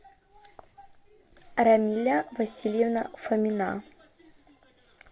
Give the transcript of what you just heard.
рамиля васильевна фомина